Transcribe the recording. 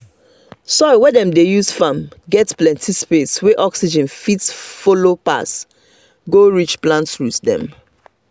soil wey dem dey use farm get plenty space wey oxygen fit follow pass go reach plant roots dem.